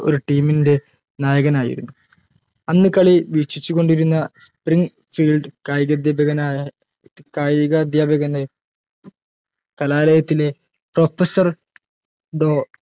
ഒരു team ൻറെ നായകനായിരുന്നു അന്ന് കളി വീക്ഷിച്ചു കൊണ്ടിരുന്ന spring child കായികാധ്യാപകനായ കായികാധ്യാപകൻറെ കലാലയത്തിലെ professor ദോ